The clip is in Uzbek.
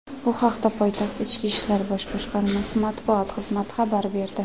Bu haqda poytaxt Ichki ishlar bosh boshqarmasi matbuot xizmati xabar berdi.